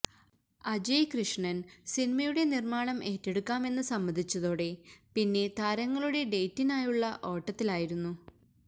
അജയ് കൃഷ്ണന് സിനിമയുടെ നിര്മാണം ഏറ്റെടുക്കാമെന്ന് സമ്മതിച്ചതോടെ പിന്നെ താരങ്ങളുടെ ഡേറ്റിനായുള്ള ഓട്ടത്തിലായിരുന്നു